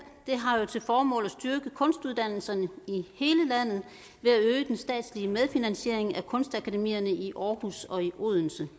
har til formål at styrke kunstuddannelserne i den statslige medfinansiering af kunstakademierne i aarhus og i odense